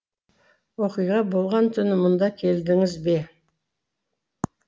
оқиға болған түні мұнда келдіңіз бе